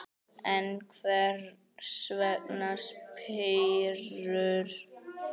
En hvers vegna spírur?